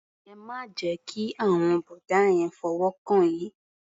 Ẹ má jẹ́ kí àwọn bọ̀dá yẹn fọwọ́ kàn yín.